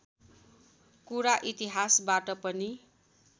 कुरा इतिहासबाट पनि